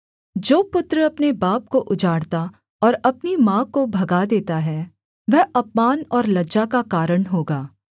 जो पुत्र अपने बाप को उजाड़ता और अपनी माँ को भगा देता है वह अपमान और लज्जा का कारण होगा